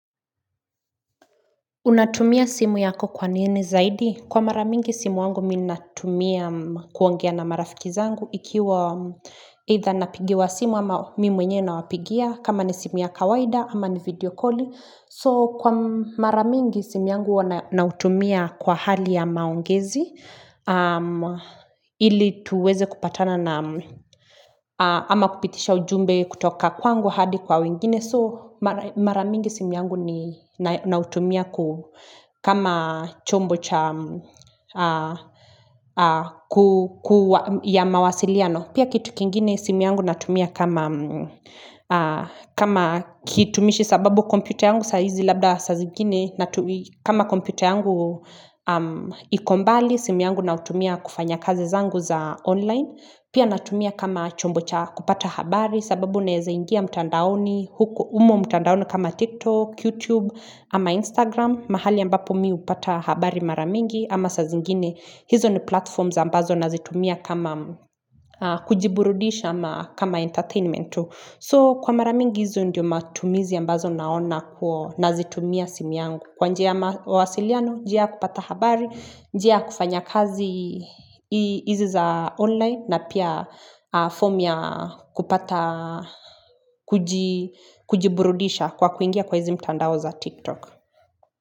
Unatumia simu yako kwa nini zaidi? Kwa mara mingi simu yangu mi natumia kuongea na marafiki zangu ikiwa itha napigiwa simu ama mi mwenyewe nawapigia kama ni simu ya kawaida ama ni videokoli. So kwa mara mingi simu yangu huwa nautumia kwa hali ya maongezi ili tuweze kupatana na ama kupitisha ujumbe kutoka kwangu hadi kwa wengine So mara mingi simu yangu nautumia kama chombo cha ya mawasiliano Pia kitu kingine simi yangu natumia kama kitumishi sababu komputa yangu saa hizi labda sa zingine natumia kama komputa yangu iko mbali simu yangu nautumia kufanya kazi zangu za online. Pia natumia kama chombo cha kupata habari sababu naeza ingia mtandaoni, umo mtandaoni kama TikTok, YouTube, ama Instagram, mahali ambapo mi upata habari mara mingi ama sa zingine, hizo ni platforms za ambazo nazitumia kama kujiburudisha ama kama entertainment. So kwa mara mingi hizo ndizo matumizi ambazo naona kwa nazitumia simu yangu kwa njia mawasiliano, njia kupata habari, njia kufanya kazi hizi za online na pia form ya kupata kujiburudisha kwa kuingia kwa hizi mtandao za TikTok.